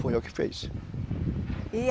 Foi eu que fiz. E